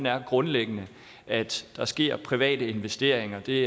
er grundlæggende at der sker private investeringer det